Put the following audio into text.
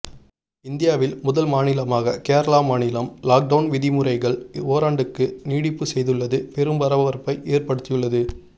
இந்தியாவில் முதல் மாநிலமாக கேரளா மாநிலம் லாக்டவுன் விதிமுறைகள் ஓராண்டுக்கு நீட்டிப்பு செய்துள்ளது பெரும் பரபரப்பை ஏற்படுத்தி உள்ளது